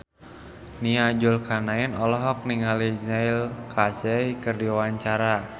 Nia Zulkarnaen olohok ningali Neil Casey keur diwawancara